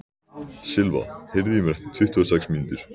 Silva, heyrðu í mér eftir tuttugu og sex mínútur.